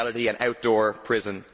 an outdoor prison.